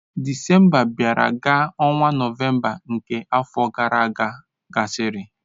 Disemba bịara ka ọnwa Nọvemba nke afọ gara aga gasịrị.